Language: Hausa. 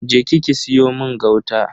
Je ki ki siyo mun gauta.